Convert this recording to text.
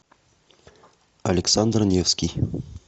александр невский